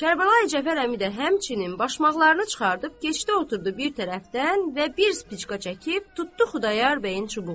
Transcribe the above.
Kərbəlayi Cəfər əmi də həmçinin başmaqlarını çıxardıb keçdi oturdu bir tərəfdən və bir spicka çəkib tutdu Xudayar bəyin çubuğuna.